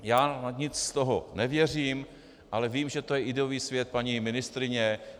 Já na nic z toho nevěřím, ale vím, že to je ideový svět paní ministryně.